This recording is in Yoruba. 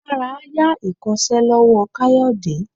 Dara a ya ikosé lowo kayode